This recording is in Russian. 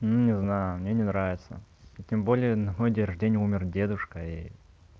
ну не знаю мне не нравится и тем более на мой день рождения умер дедушка и